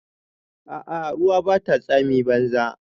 A'a ruwa Bata tsami banza.